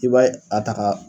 I b'a a ta ka